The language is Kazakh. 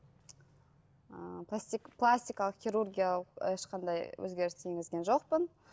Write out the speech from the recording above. ы пластикалық хирургиялық ешқандай өзгерістер енгізген жоқпын